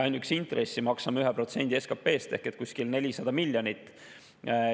Ainuüksi intressi maksame 1% SKP‑st ehk kuskil 400 miljonit.